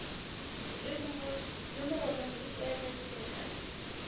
le mogolong di tlwaelegile ka